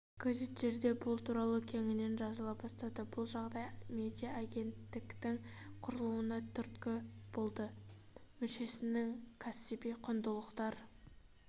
газеттерде бұл туралы кеңінен жазыла бастады бұл жағдай медиа агенттіктің құрылуына түрткі болды мүшесінің кәсіби құндылықтар